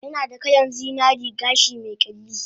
Yanada kalan zinaren gashi me kyalli